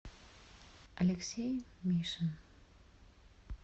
алексей мишин